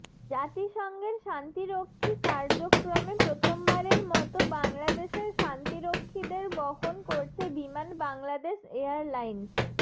জাতিসংঘের শান্তিরক্ষী কার্যক্রমে প্রথমবারের মতো বাংলাদেশের শান্তিরক্ষীদের বহন করছে বিমান বাংলাদেশ এয়ারলাইন্স